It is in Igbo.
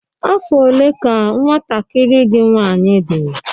Afọ ole ka nwantakịrị gị nwanyị dị?